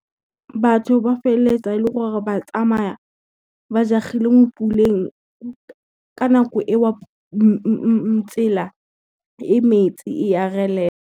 Batho ba feletsa e leng gore ba tsamaya ba jagileng mo puleng ka nako e o tsela e metsi e a relela.